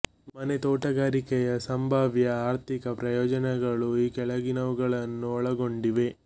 ಮನೆ ತೋಟಗಾರಿಕೆಯ ಸಂಭಾವ್ಯ ಆರ್ಥಿಕ ಪ್ರಯೋಜನಗಳು ಈ ಕೆಳಗಿನವುಗಳನ್ನು ಒಳಗೊಂಡಿವೆ